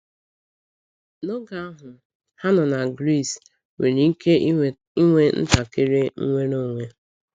N’oge ahụ, ha nọ na Gris nwere ike inwe ntakịrị nnwere onwe.